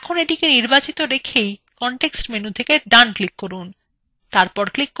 এখন এটিকে নির্বাচিত রেখেই context menu দেখতে ডানclick করুন